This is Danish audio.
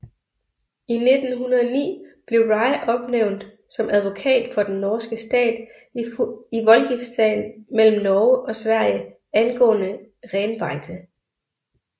I 1909 blev Rygh opnævnt som advokat for den norske stat i voldgiftssagen mellem Norge og Sverige angående renbeite